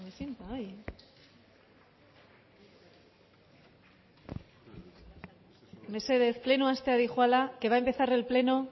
se me sienta ahí mesedez plenoa hastera doa que va a empezar el pleno